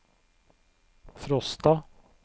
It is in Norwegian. Frosta